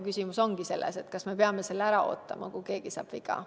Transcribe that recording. Küsimus ongi selles, kas me peame ära ootama selle hetke, kui keegi saab viga.